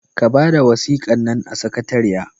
Ka bada wasikan nan a sakatariya!